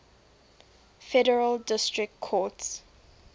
federal district courts